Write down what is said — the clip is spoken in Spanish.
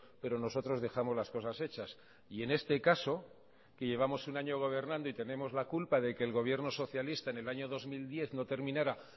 pero nosotros dejamos las cosas hechas y en este caso que llevamos un año gobernando y tenemos la culpa de que el gobierno socialista en el año dos mil diez no terminara